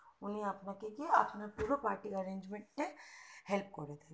উনি আপনাকে গিয়ে আপনার পুরো party arrangemental এ help করে দেবে